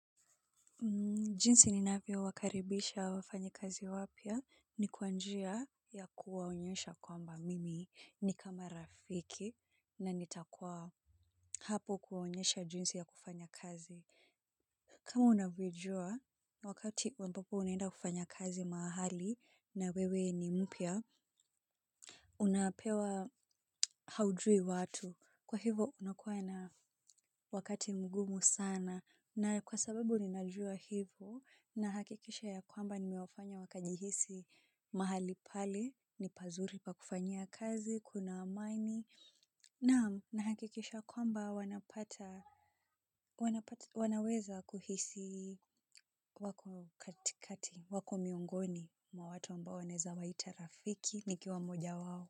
Jinsi ninavyowakaribisha wafanyikazi wapya ni kwa njia ya kuwaonyesha kwamba mimi ni kama rafiki na nitakua hapo kuwaonyesha jinsi ya kufanya kazi. Kama unavyojua wakati ampapo unaenda kufanya kazi mahali na wewe ni mpya, unapewa haujui watu. Kwa hivo unakuwa na wakati mgumu sana na kwa sababu ninajua hivo nahakikisha ya kwamba nimewafanya wakajihisi mahali pale, ni pazuri pa kufanyia kazi, kuna amani naam nahakikisha kwamba wanapata wanaweza kuhisi wako katikati, wako miongoni mwa watu ambao wanaeza waita rafiki, nikiwa moja wao.